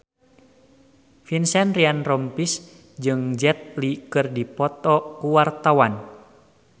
Vincent Ryan Rompies jeung Jet Li keur dipoto ku wartawan